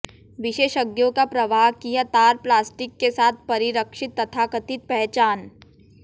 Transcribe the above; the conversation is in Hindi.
विशेषज्ञों का प्रवाहकीय तार प्लास्टिक के साथ परिरक्षित तथाकथित पहचान